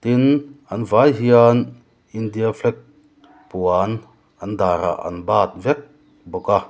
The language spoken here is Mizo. tin an vai hian india flag puan an dar ah an bat vek bawka.